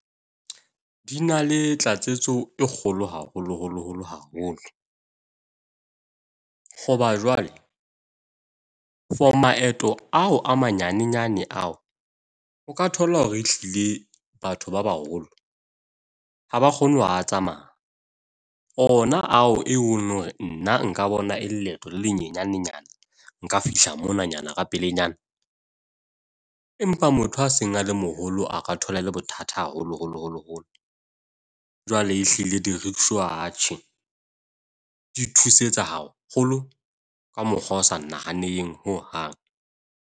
Di na le tlatseletso e kgolo haholo holo holo haholo, hoba jwale for maeto ao a ma nyanenyane ao, o ka thola hore e hlile batho ba baholo ha ba kgone ho a tsamaya. Ona ao e leng hore nna nka bona e leeto le nyanenyane . Nka fihla mona nyana ka pelenyana, empa motho a seng a le moholo a ka thola e le bothata haholo holo holo holo. Jwale ehlile di-rickshaw atjhe, di thusetsa haholo ka mokgwa o sa nahaneng hohang.